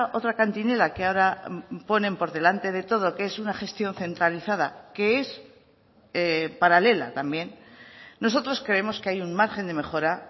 otra cantinela que ahora ponen por delante de todo que es una gestión centralizada que es paralela también nosotros creemos que hay un margen de mejora